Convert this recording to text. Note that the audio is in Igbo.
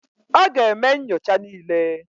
Ọ ga-eme nyocha niile.